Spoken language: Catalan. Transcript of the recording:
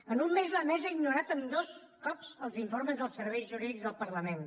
en un mes la mesa ha ignorat dos cops els informes dels serveis jurídics del parlament